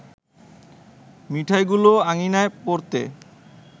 মিঠাইগুলো আঙিনায় পড়তে